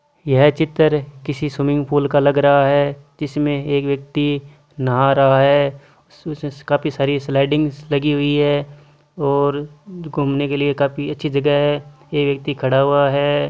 यह चित्र किसी सविंगपूल लग रहा है। इस में एक व्यक्ति नहा रहा है। काफी सारी स्लाइड लगी है और घुमने वाला एक व्यक्ति खड़ा हैं।